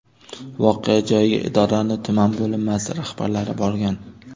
Voqea joyiga idoraning tuman bo‘linmasi rahbarlari borgan.